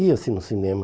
Ia-se no cinema.